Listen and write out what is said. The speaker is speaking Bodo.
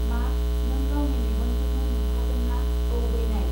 मा नों गावनि मेगनजोंनो नुथारदोंना औ बैनाय